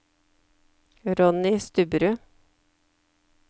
Ronny Stubberud